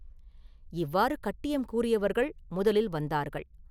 இவ்வாறு கட்டியம் கூறியவர்கள் முதலில் வந்தார்கள்.